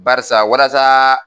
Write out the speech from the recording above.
Barisa walasaaa.